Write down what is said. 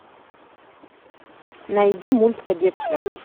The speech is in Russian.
найди мульт кадетство